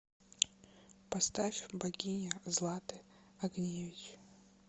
поставь богиня златы огневич